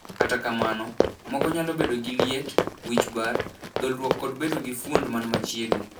Kata kamano, moko nyalo bedo gi liet, wich bar, dholruok kod bedo gi fuond man machiegni.